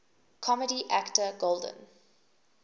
comedy actor golden